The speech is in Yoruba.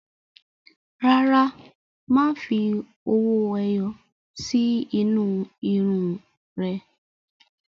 Rárá, má fi owó ẹyọ sí inú irun ún rẹ